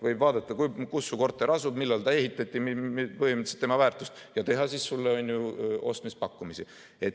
Võib vaadata, kus su korter asub, millal ta ehitati, põhimõtteliselt tema väärtust, ja teha sulle ostmispakkumisi.